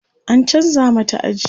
an chanza mata aji